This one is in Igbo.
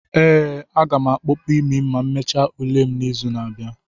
ee, a ga m akpopu imi ma emechaa ule m n'izu na-abịa.